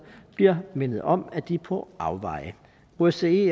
bliver mindet om at de er på afveje osce